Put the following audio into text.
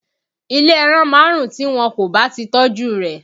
Ilé ẹran máa ń rùn tí wọn kò bá ti tọ́jú rẹ̀